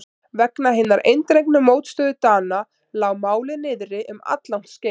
Vegna hinnar eindregnu mótstöðu Dana lá málið niðri um alllangt skeið.